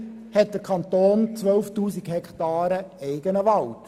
Immerhin verfügt der Kanton über 12 000 Hektaren eigenen Wald.